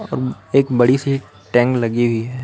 एक बड़ी सी टैंग लगी हुई है।